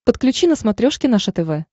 подключи на смотрешке наше тв